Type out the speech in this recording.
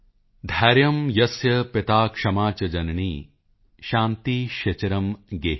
ਧੈਰਯ ਯਸੱਯ ਪਿਤ ਕਸ਼ਮਾ ਚ ਜਨਨੀ ਸ਼ਾਂਤੀਸ਼ਿਚਰ ਗੇਹਿਨੀ